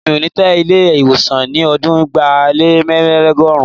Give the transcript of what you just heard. Èmi ò ní tẹ Ilé-ìwọ̀sàn ní ọdún ẹgbàá lé mẹ́rìnlélógún.